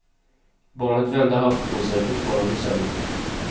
Barnet vände halvt på sig, fortfarande i sömnen.